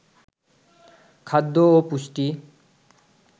খাদ্য ও পুষ্টি